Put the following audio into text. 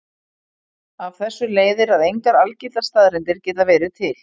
Af þessu leiðir að engar algildar staðreyndir geta verið til.